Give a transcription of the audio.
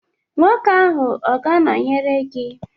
Nwoke ahụ ọ ga-anọnyere gị?